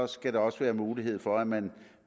skal der også være mulighed for at man